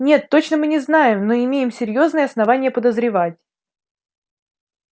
нет точно мы не знаем но имеем серьёзные основания подозревать